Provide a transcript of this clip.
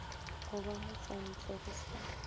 go ba motšwantle bo sa